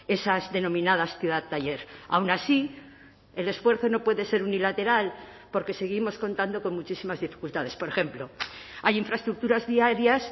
esas denominadas ciudad taller aun así el esfuerzo no puede ser unilateral porque seguimos contando con muchísimas dificultades por ejemplo hay infraestructuras viarias